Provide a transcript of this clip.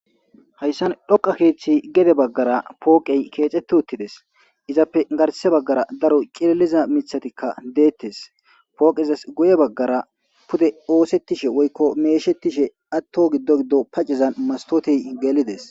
Hayssan dhoqa keethi ya baggara kexeti utides.izape garssa baggara cililo mithatika detes pokezika guye baggara osetishe woykko meshetishe diza sohon maskote geli dees.